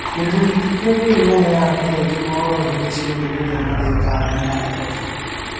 Mũthuri ti Kiengei nĩaheaga Kihenjo mohoro hĩndĩ ciothe rĩria marĩĩ taũni ya Nairobi